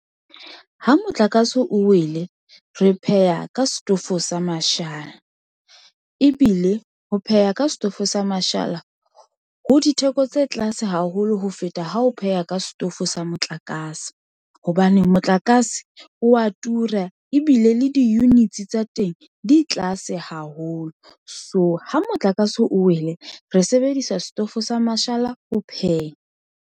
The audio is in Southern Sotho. Ha motlakase o wele, re pheha ka setofo sa mashala ebile ho pheha ka setofo sa mashala ho ditheko tse tlase haholo ho feta. Ha o pheha ka setofo sa motlakase hobane motlakase o wa tura ebile le di-units tsa teng di tlase haholo. So ha motlakase o wele, re sebedisa setofo sa mashala ho pheha.